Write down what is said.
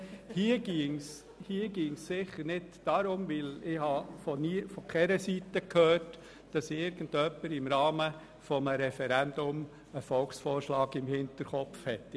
Hier ginge es sicher nicht darum, denn ich habe von keiner Seite gehört, dass irgendjemand im Rahmen eines Referendums einen Volksvorschlag im Hinterkopf hat.